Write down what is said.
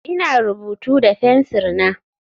Ina rubutu da fensir na.